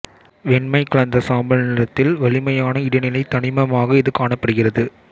வெண்மை கலந்த சாம்பல் நிறத்தில் வலிமையான இடைநிலைத் தனிமமாக இது காணப்படுகிறது